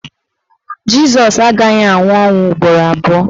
Jịsọs agaghị anwụ ọnwụ ugboro abụọ